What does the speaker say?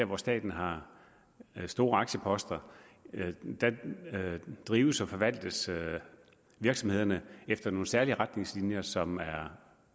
hvor staten har store aktieposter drives og forvaltes virksomhederne efter nogle særlige retningslinjer som er